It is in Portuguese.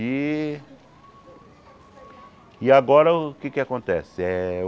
E... E agora o que é que acontece? Eh